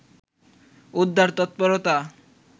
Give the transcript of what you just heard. উদ্ধার তৎপরতা